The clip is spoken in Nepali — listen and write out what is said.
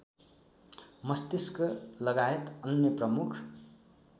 मस्तिष्कलगायत अन्य प्रमुख